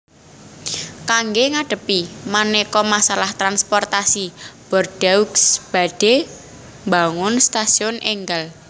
Kangge ngadhepi manéka masalah transportasi Bordeaux badhé mbangun stasiun énggal